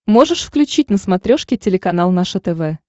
можешь включить на смотрешке телеканал наше тв